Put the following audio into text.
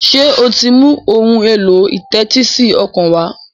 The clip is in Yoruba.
ṣe o tí ń mú Ohun èlò ìtẹ́tísí ọkàn wá?